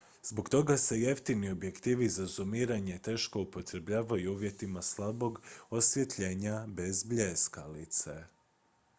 zbog toga se jeftini objektivi za zumiranje teško upotrebljavaju u uvjetima slabog osvjetljenja bez bljeskalice